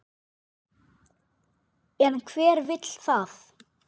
En hver vill það?